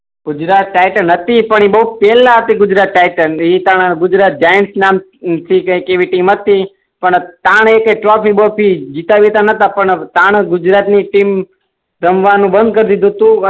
Gujarat Titans હતી પણ એ બઉ પેહલા હતી ગુજરાત ટાઇટન્સ એ તાણે ગુજરાત જાઈન્ટસ નામ કઈક એવી ટીમ હતી પણ તાણ એ કે ચોથી બોથી ગીતા વિતા ન હતા પણ તાણ ગુજરાત ની ટીમ રમવાનું બંદ કરી દે તો